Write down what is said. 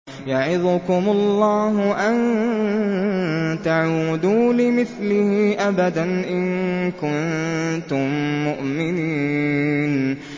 يَعِظُكُمُ اللَّهُ أَن تَعُودُوا لِمِثْلِهِ أَبَدًا إِن كُنتُم مُّؤْمِنِينَ